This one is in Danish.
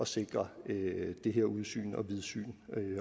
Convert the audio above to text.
sikre det her udsyn og vidsyn